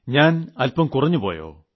ഞാൻ അല്പം കുറഞ്ഞുപോയോ